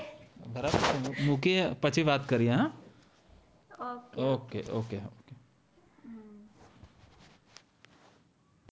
બરાબર મૂકીને પછી વાત કરીએ હા ઓકે ઓકે